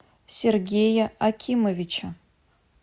сергея акимовича